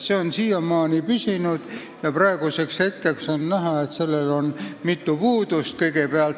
See on seal siiamaani püsinud ja praeguseks hetkeks on näha, et sellel on mitu puudust.